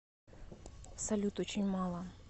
салют очень мало